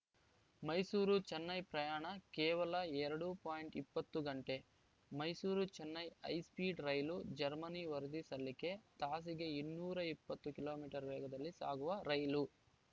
ಮೈಸೂರುಚೆನ್ನೈ ಪ್ರಯಾಣ ಕೇವಲ ಎರಡು ಪಾಯಿಂಟ್ ಇಪ್ಪತ್ತು ಗಂಟೆ ಮೈಸೂರುಚೆನ್ನೈ ಹೈಸ್ಪೀಡ್‌ ರೈಲು ಜರ್ಮನಿ ವರದಿ ಸಲ್ಲಿಕೆ ತಾಸಿಗೆ ಇನ್ನೂರ ಇಪ್ಪತ್ತು ಕಿಲೋ ಮೀಟರ್ ವೇಗದಲ್ಲಿ ಸಾಗುವ ರೈಲು